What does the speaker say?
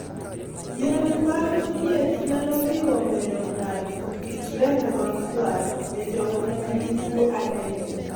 Yore mag thieth nyalo riwo medo ng'ato kit remo makwar e jogo manigi tuo anemia